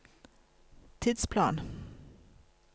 tidsplan